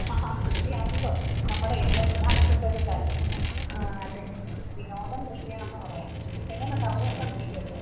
ആഹാ കൃഷിയാണല്ലോ നമ്മുടെ ഏറ്റവും പ്രധാനപ്പെട്ട ഒരു കാര്യം. വിനോദം കൃഷിയാണെന്ന് പറയാം എങ്ങനുണ്ട് അവിടെ ഉണ്ടോ കൃഷിയൊക്കെ?